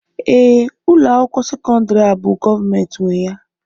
ee, ụlọ akwụkwọ sekọndrị a bụ gọọmentị nwe ya